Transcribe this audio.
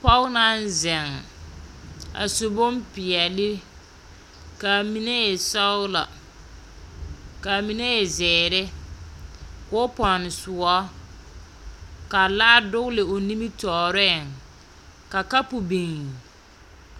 Pɔg naŋ zeŋ, a su bompeɛle, kaa mine e sɔgelɔ, kaa mine e zeere, koo pɛgele soɔ, ka laa dogele o nimitɔɔreŋ, ka kapo biŋ.